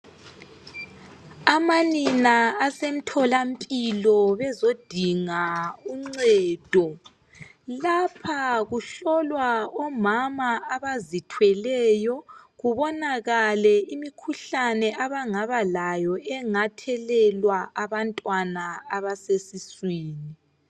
Amanina basemthola mpilo bazodinga ungcedo lapha kuhlolwa omama abazithweleyo kubonakale imikhuhlane abangaba layo engathelelwa abantwana abasesiswini